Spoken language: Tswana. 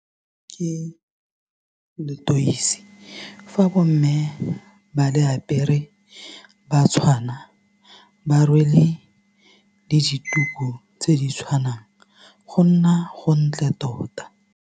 Ke letweisi fa bomme ba le apere ba tshwana ba rwele le dituku tse di tshwanang go nna gontle tota.